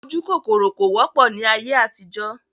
Ojúkòkòrò kò wọ́pọ̀ ni ayé àtijọ́